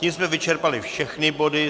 Tím jsme vyčerpali všechny body.